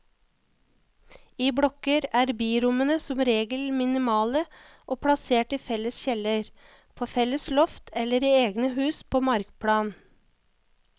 I blokker er birommene som regel minimale og plassert i felles kjeller, på felles loft eller i egne hus på markplan.